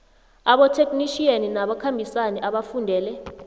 abotheknitjhiyeni nabakhambisani abafundele